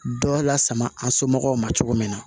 Dɔ lasama an somɔgɔw ma cogo min na